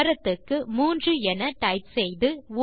ஆரத்துக்கு மதிப்பு 3 என டைப் செய்யலாம்